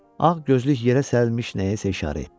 Ağ gözlük yerə sərilmiş nəyəsə işarə etdi.